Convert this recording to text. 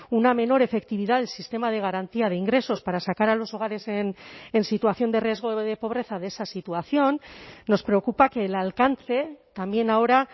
una menor efectividad del sistema de garantía de ingresos para sacar a los hogares en situación de riesgo de pobreza de esa situación nos preocupa que el alcance también ahora